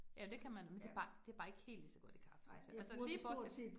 Ja, det kan man, men det bare, det bare ikke helt ligeså godt i kaffe synes jeg. Altså lige bortset